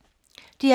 DR P2